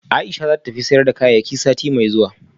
Aisha zata tafi sayar da kayayyakinext week